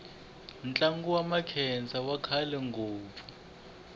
ntlangu wa makhensa wu kahle ngopfu